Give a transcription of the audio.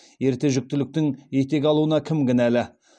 ерте жүктіліктің етек алуына кім кінәлі